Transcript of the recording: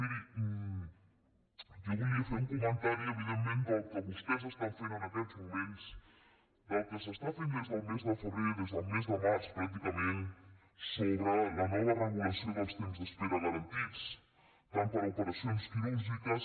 miri jo volia fer un comentari evidentment del que vostès estan fent en aquests moments del que s’està fent des del mes de febrer des del mes de març pràcticament sobre la nova regulació dels temps d’espera garantits tant per a operacions quirúrgiques